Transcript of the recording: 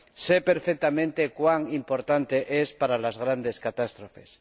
Sé perfectamente cuán importante es para las grandes catástrofes.